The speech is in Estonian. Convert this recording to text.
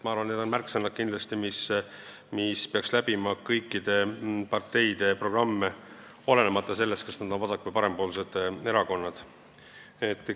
Ma arvan, et need on märksõnad, mis peaks läbima kõikide parteide programme, olenemata sellest, kas erakond on vasak- või parempoolne.